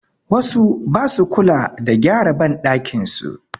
Wasu ba su kula da gyara banɗakin su.